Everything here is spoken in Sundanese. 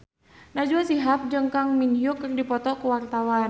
Najwa Shihab jeung Kang Min Hyuk keur dipoto ku wartawan